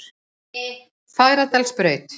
Fagradalsbraut